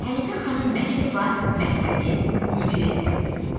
Hənifə xanım Məlikova məktəbin müdiri təyin olundu.